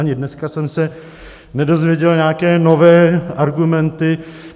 Ani dneska jsem se nedozvěděl nějaké nové argumenty.